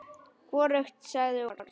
Hvorugt sagði orð.